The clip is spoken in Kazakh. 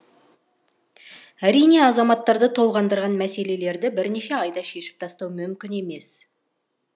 әрине азаматтарды толғандырған мәселелерді бірнеше айда шешіп тастау мүмкін емес